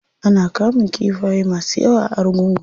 Ana kamun kifaye masu yawa a argungu.